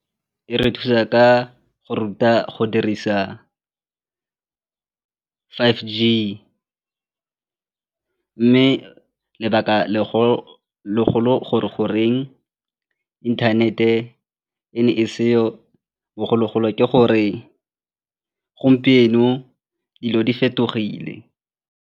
E re thusa ka go ruta go dirisa five G mme lebaka gore goreng inthanete e ne e seo bogologolo ke gore gompieno dilo di fetogile.